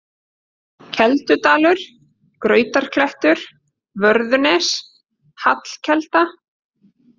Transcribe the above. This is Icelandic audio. Keldudalur, Grautarklettur, Vörðunes, Hallkelda